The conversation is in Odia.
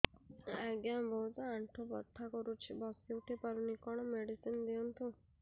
ଆଜ୍ଞା ବହୁତ ଆଣ୍ଠୁ ବଥା କରୁଛି ବସି ଉଠି ପାରୁନି କଣ ମେଡ଼ିସିନ ଦିଅନ୍ତୁ